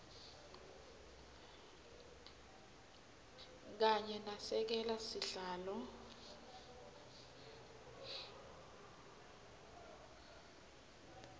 kanye nasekela sihlalo